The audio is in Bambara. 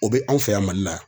O be anw fɛ yan mali la